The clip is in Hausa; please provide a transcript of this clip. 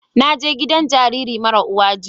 Na je gidan jariri mara uwa jiya